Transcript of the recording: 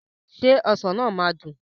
Ṣé ọsàn náà máa dùn?